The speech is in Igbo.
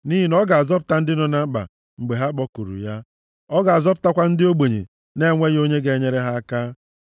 Nʼihi na ọ ga-azọpụta ndị nọ na mkpa mgbe ha kpọkuru ya. Ọ ga-azọpụtakwa ndị ogbenye na-enweghị onye ga-enyere ha aka.